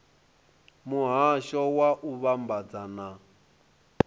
muhasho wa u vhambadza na